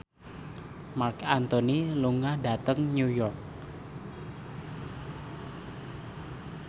Marc Anthony lunga dhateng New York